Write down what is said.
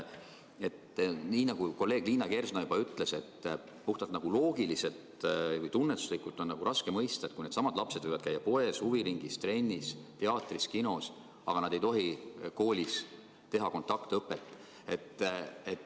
Nii nagu kolleeg Liina Kersna ütles, puhtalt loogiliselt ja ka tunnetuslikult on raske mõista, et kui needsamad lapsed võivad koos käia poes, huviringis, trennis, teatris ja kinos, miks nad ei tohi koos koolis olla.